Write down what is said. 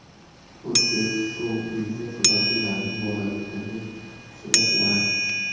O‘zbek shou-biznesi vakillarining bolalikdagi suratlari .